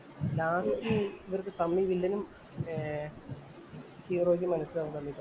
last ഇവര്‍ക്ക് തമ്മി വില്ലനും, ഏർ ഹീറോയ്ക്കും മനസിലാവും തമ്മില്‍